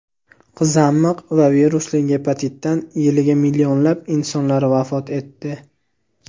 qizamiq va virusli gepatitdan yiliga millionlab insonlar vafot etdi.